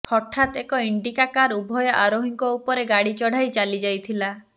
ହଠାତ୍ ଏକ Indica car ଉଭୟ ଆରୋହୀଙ୍କ ଉପରେ ଗାଡ଼ି ଚଢ଼ାଇ ଚାଲିଯାଇଥିଲା